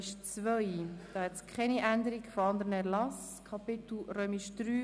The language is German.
Eine Abstimmung erübrigt sich deshalb.